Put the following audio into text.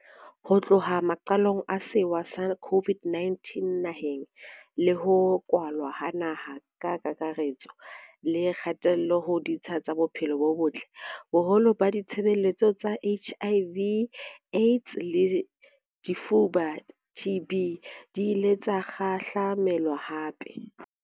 Ho tloha maqalong a sewa sa COVID-19 naheng, le ho kwalwa ha naha ka kakare-tso le kgatello ho ditsha tsa bophelo bo botle, boholo ba ditshebeletso tsa HIV, AIDS le lefuba, TB, di ile tsa kgahla-melwa hampe.